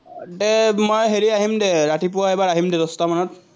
দে মই হেৰি আহিম দে, ৰাতিপুৱা এবাৰ আহিম দে দশটামানত।